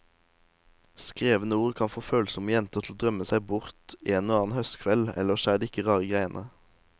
Skrevne ord kan få følsomme jenter til å drømme seg bort en og annen høstkveld, ellers er det ikke rare greiene.